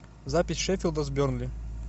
запись шеффилда с бернли